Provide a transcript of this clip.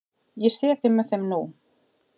Ég sé þig með þeim nú.